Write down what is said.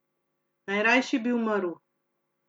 Najrajši bi umrl.